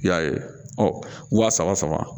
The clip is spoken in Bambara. I y'a ye ɔ waa saba saba